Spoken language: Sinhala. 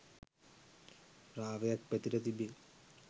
රාවයක් පැතිර තිබේ.